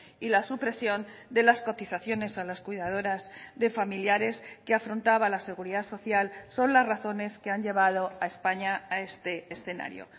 y la supresión de las cotizaciones a las cuidadoras de familiares que afrontaba la seguridad social son las razones que han llevado a españa a este escenario